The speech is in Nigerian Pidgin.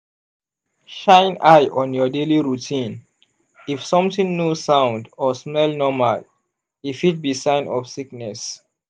shine eye on your daily routine if something no sound or smell normal e fit be sign of sickness.